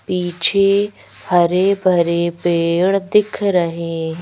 पीछे हरे भरे पेड़ दिख रहे हैं।